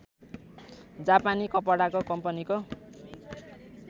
जापानी कपडाको कम्पनीको